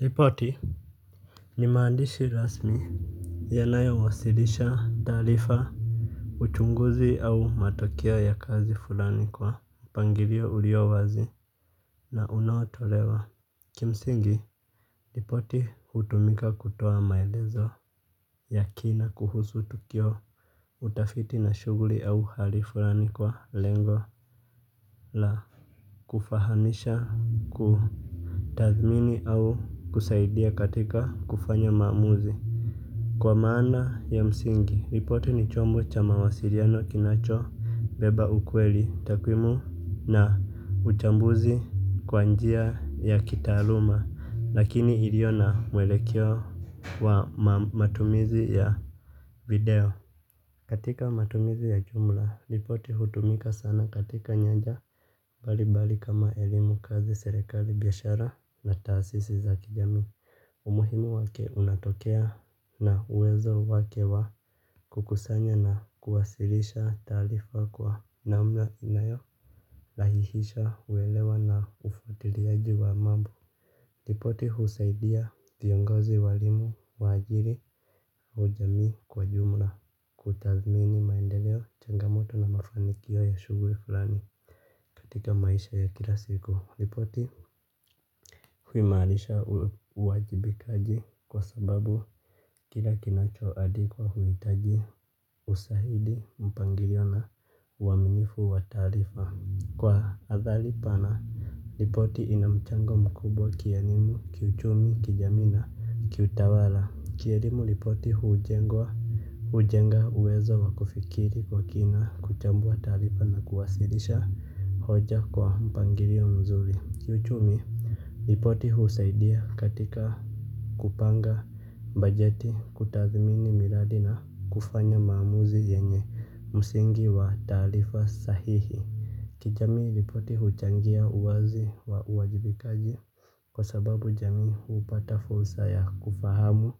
Ripoti ni maandishi rasmi yanayo wasilisha taarifa. Uchunguzi au matokeo ya kazi fulani kwa mpangilio ulio wazi na unaotolewa kimsingi ripoti hutumika kutoa maelezo yakina kuhusu tukio. Utafiti na shughuri au hali fulani kwa lengo La Kufahamisha ku tathmini au kusaidia katika kufanya mamuzi. Kwa maana ya msingi, ripoti ni chombo cha mawasiliano kinacho, beba ukweli, takwimu na utambuzi kwanjia ya kitaaluma, lakini iliona mwelekio wa matumizi ya video. Katika matumizi ya jumla, ripoti hutumika sana katika nyanja mbalimbali kama elimu kazi serekali biashara na taasisi za kijami. Umuhimu wake unatokea na uwezo wake wa kukusanya na kuwasilisha taarifa kwa namna inavyo rahihisha uwelewa na ufatiliaji wa mambo ripoti husaidia viongozi walimu, wajiri au jamii kwa jumla. Kutazmini maendeleo changamoto na mafanikio ya shughuli fulani. Katika maisha ya kila siku, ripoti huimanisha uwajibikaji kwa sababu kila kinacho andikwa huhitaji usahidi mpangilio na uwaminifu wataarifa. Kwa athali pana, ripoti inamchango mkubwa kielimu, kiuchumi, kijamii na, kiutawala. Kielimu ripoti huujenga uwezo wakufikiri kwa kina kuchambu wa taarifa na kuwasilisha hoja kwa mpangilio mzuri kiuchumi. Lipoti husaidia katika kupanga bajeti kutathmini miradi na kufanya maamuzi yenye msingi wa taarifa sahihi. Kijamii ripoti huchangia uwazi wa uwajibikaji. Kwa sababu jamii upata fursa ya kufahamu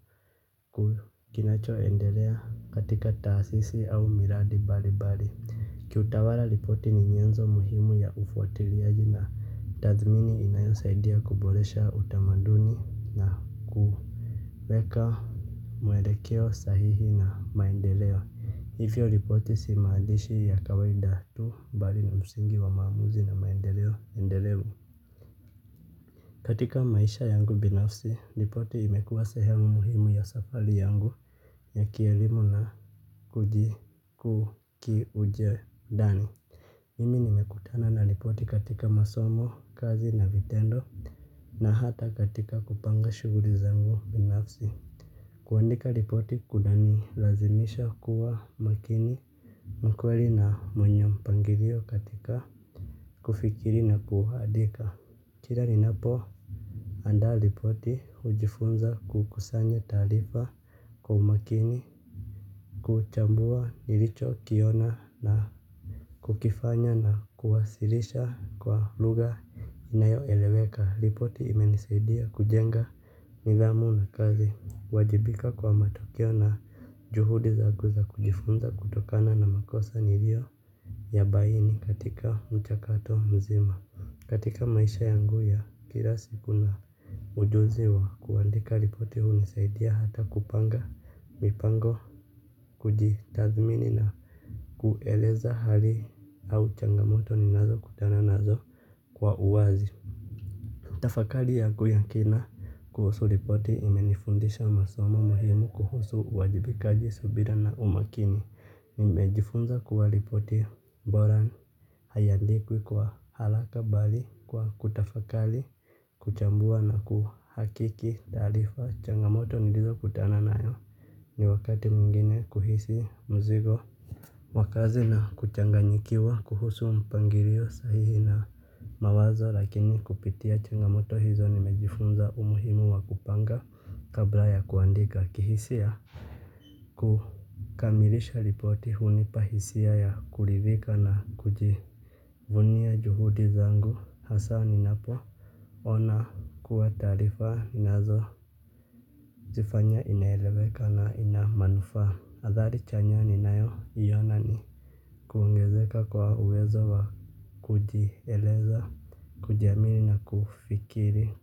kukinacho endelea katika taasisi au miradi mbali mbali. Kiutawala ripoti ni nyenzo muhimu ya ufatiliaji na tathmini inayosaidia kuboresha utamaduni na kuweka muelekeo sahihi na maendeleo. Ivyo ripoti si maandishi ya kawaida tu bali ni msingi wa maamuzi na maendeleo endelevu. Katika maisha yangu binafsi, ripoti imekuwa sehemu muhimu ya safari yangu ya kielimu na kuji kuu kiuje dani. Mimi nimekutana na lipoti katika masomo, kazi na vitendo na hata katika kupanga shughuli za ngu binafsi. Kuandika ripoti kuna nilazimisha kuwa makini wa kweli na mwenye mpangilio katika kufikiri na kuandika. Kila ninapo andaa ripoti hujifunza kukusanya taarifa kwa umakini kuchambua nilicho kiona na kukifanya na kuwasilisha kwa lugha inayo eleweka. Ripoti imenisaidia kujenga nidhamu na kazi. Wajibika kwa matokeo na juhudi za guza kujifunza kutokana na makosa niliyo ya baini katika mchakato mzima. Katika maisha yangu ya kila siku na ujuzi wa kuandika ripoti hunisaidia hata kupanga mipango kujitathmini na kueleza hali au changamoto ninazo kutana nazo kwa uwazi. Tafakari yangu ya kina kuhusu ripoti imenifundisha masoma muhimu kuhusu wajibikaji subira na umakini. Nimejifunza kuwa ripoti bora haiandikwi kwa haraka bali kwa kutafakari kuchambua na kuhakiki tarifa. Changamoto nilizo kutana nayo ni wakati mwingini kuhisi mzigo. Wakazi na kuchanganyikiwa kuhusu mpangilio sahihi na mawazo lakini kupitia changamoto hizo nimejifunza umuhimu wa kupanga kabla ya kuandika kihisia. Kukamilisha ripoti hunipa hisia ya kuridhika na kujivunia juhudi zangu hasa ninapo ona kuwa taarifa inazo zifanya inaeleweka na ina manufaa. Habari chanya ninayo iona ni kuongezeka kwa uwezo wa kujieleza, kujiamini na kufikiri.